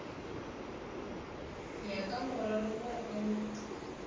ya ka morero wo o